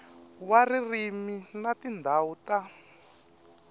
wa ririmi na tindhawu ta